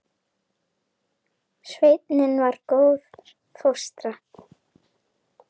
Sveitin var góð fóstra.